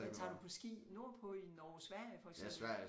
Men tager du på ski nordpå i Norge Sverige for eksempel